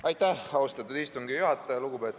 Aitäh, austatud istungi juhataja!